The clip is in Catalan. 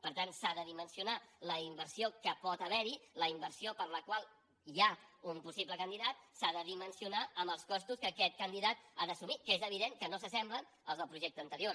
per tant s’ha de dimensionar la inversió que pot haver hi la inversió per la qual hi ha un possible candidat amb els costos que aquest candidat ha d’assumir que és evident que no s’assemblen als del projecte anterior